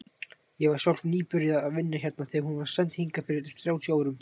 Ég var sjálf nýbyrjuð að vinna hérna þegar hún var send hingað fyrir þrjátíu árum.